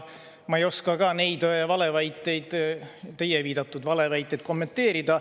Ma ei oska ka neid valeväiteid, teie viidatud valeväiteid kommenteerida.